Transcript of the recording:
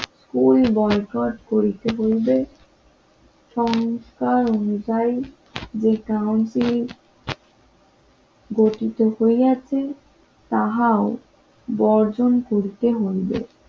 তুই বয়কট করিতে হইবে সংসার অনুযায়ী যে কাউন্সিল গঠিত হয়েছে তাহাও বর্জন করতে হইবে